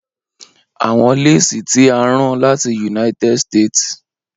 Awọn lesi ti a rán lati United States